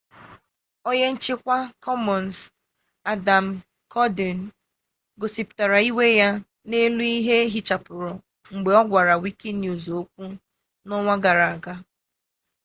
onye nchikwa commons adam cuerden gosiputara iwe ya n'elu ihe eghichapuru mgbe ogwara wikinews okwu n'onwa gara gara